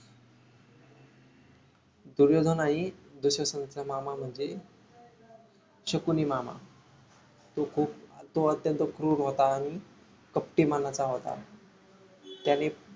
दुर्योधन आणि दुःशासनचा मामा म्हणजे शकुनी माम तो खूप तो अत्यंत क्रूर होत आणि कपटी मनाचा होत त्याने